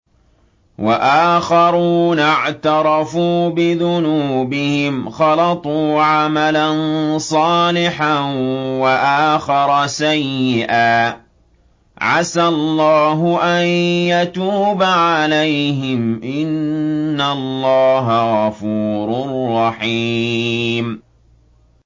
وَآخَرُونَ اعْتَرَفُوا بِذُنُوبِهِمْ خَلَطُوا عَمَلًا صَالِحًا وَآخَرَ سَيِّئًا عَسَى اللَّهُ أَن يَتُوبَ عَلَيْهِمْ ۚ إِنَّ اللَّهَ غَفُورٌ رَّحِيمٌ